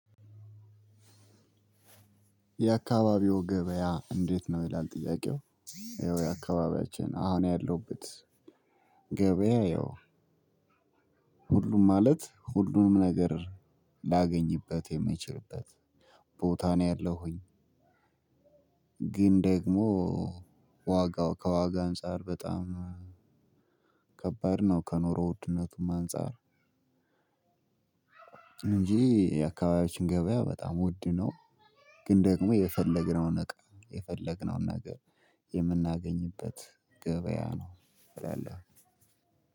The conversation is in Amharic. የአካባቢው ገበያ እንዴት? ነው ይላል ጥያቄው ይኸው የአካባቢያችን አሁን ያለሁበት ገበያ ያው ሁሉም ማለት ሁሉንም ነገር ላገኝበት የምችልበት ቦታ ነው ያለሁኝ። ግን ደግሞ ዋጋው ከዋጋ አንፃር በጣም ከባድ ነው ከኑሮው ውድነቱም አንፃር። እንጂ የአካባቢያችን ገበያ በጣም ውድ ነው። ግን ደግሞ የፈለግነውን ነገር የፈለግነውን ነገር የምናገኝበት ገበያ ነው እላለሁ።